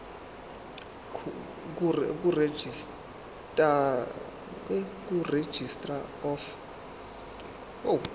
kuregistrar of gmos